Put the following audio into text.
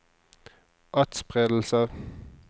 atspredelse